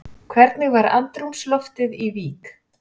Hvernig var andrúmsloftið í Vík?